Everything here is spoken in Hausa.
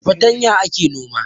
Da fartanya ake noma